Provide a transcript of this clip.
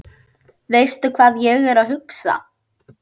Veistu hvað ég er að hugsa?